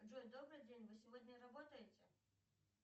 джой добрый день вы сегодня работаете